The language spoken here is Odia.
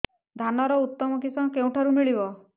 ଧାନର ଉତ୍ତମ କିଶମ କେଉଁଠାରୁ ମିଳିବ